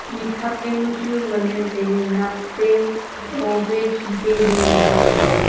mik thap jaonu chu ngan le taile nak pe tho pe khipe le ngan le taile.